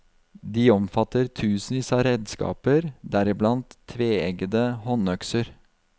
De omfatter tusenvis av redskaper, deriblant tveeggede håndøkser.